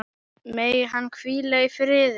Megi hann hvíla í friði.